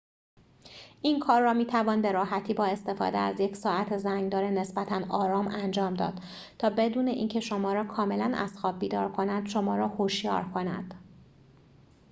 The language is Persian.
این کار را می توان به راحتی با استفاده از یک ساعت زنگ دار نسبتاً آرام انجام داد تا بدون اینکه شما را کاملا از خواب بیدار کند شما را هوشیار کند